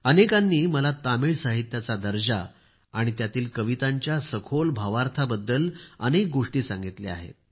अनेकांनी मला तामिळ साहित्याचा दर्जा आणि त्यातील कवितांच्या सखोल भावार्थाबद्द्ल अनेक गोष्टी सांगितल्या आहेत